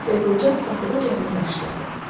Və qoca qapıdaca onu qarşıladı.